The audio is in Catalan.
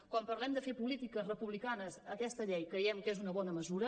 quan parlem de fer polítiques republicanes aquesta llei creiem que és una bona mesura